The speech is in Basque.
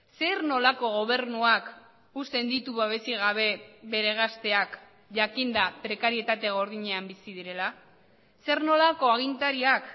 zer nolako gobernuak uzten ditu babesik gabe bere gazteak jakinda prekarietate gordinean bizi direla zer nolako agintariak